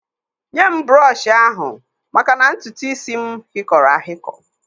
Nye m brọshị ahụ maka na ntutuisi m hịkọrọ ahikọ